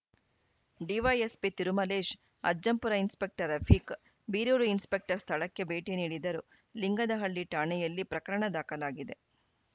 DYSP Tirumalesh Ajjampura inspector Rafiq Birur inspector ಸ್ಥಳಕ್ಕೆ ಭೇಟಿ ನೀಡಿದ್ದರು ಲಿಂಗದಹಳ್ಳಿ ಠಾಣೆಯಲ್ಲಿ ಪ್ರಕರಣ ದಾಖಲಾಗಿದೆ